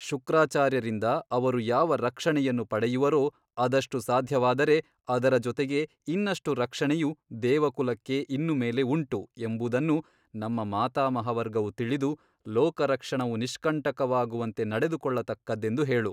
ಶುಕ್ರಾಚಾರ್ಯರಿಂದ ಅವರು ಯಾವ ರಕ್ಷಣೆಯನ್ನು ಪಡೆಯುವರೋ ಅದಷ್ಟು ಸಾಧ್ಯವಾದರೆ ಅದರ ಜೊತೆಗೆ ಇನ್ನಷ್ಟು ರಕ್ಷಣೆಯು ದೆವಕುಲಕ್ಕೆ ಇನ್ನು ಮೇಲೆ ಉಂಟು ಎಂಬುದನ್ನು ನಮ್ಮ ಮಾತಾಮಹವರ್ಗವು ತಿಳಿದು ಲೋಕರಕ್ಷಣವು ನಿಷ್ಕಂಟಕವಾಗುವಂತೆ ನಡೆದುಕೊಳ್ಳತಕ್ಕದ್ದೆಂದು ಹೇಳು.